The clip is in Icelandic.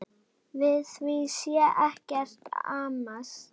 Við því sé ekkert amast.